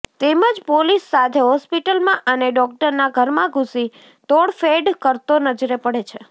તેમજ પોલીસ સાથે હોસ્પિટલમાં અને ડોક્ટરના ઘરમા ઘૂસી તોડફેડ કરતો નજરે પડે છે